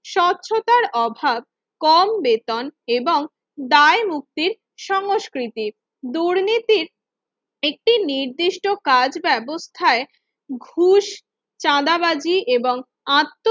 স্বচ্ছতার অভাব কম বেতন এবং দায় মুক্তির সংস্কৃতির দুর্নীতির একটি নির্দিষ্ট কাজ ব্যবস্থায় খুব চাঁদাবাজি এবং আত্ম